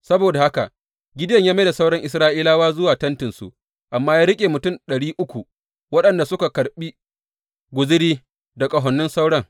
Saboda haka Gideyon ya mai da sauran Isra’ilawa zuwa tentinsu amma ya riƙe mutum ɗari uku waɗanda suka karɓi guzuri da ƙahonin sauran.